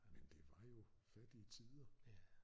Men det var jo fattige tider